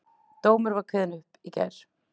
Dómur var kveðinn upp í gær